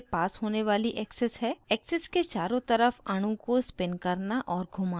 axis के चारों तरफ अणु को spin करना और घुमाना